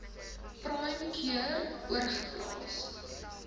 prime cure oorgeplaas